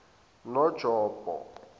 nonjombo